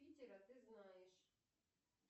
питера ты знаешь